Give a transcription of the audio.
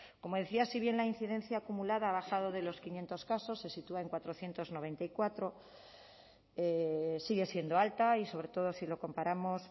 como decía si bien la incidencia acumulada ha bajado de los quinientos casos se sitúa en cuatrocientos noventa y cuatro sigue siendo alta y sobre todo si lo comparamos